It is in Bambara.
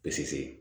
Pese